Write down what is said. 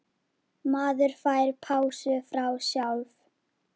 Maður fær pásu frá sjálf